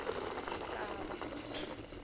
mhlava